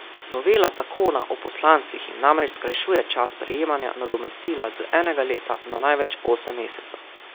Novela zakona o poslancih jim namreč skrajšuje čas prejemanja nadomestila z enega leta na največ osem mesecev.